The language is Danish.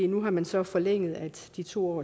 nu har man så forlænget de to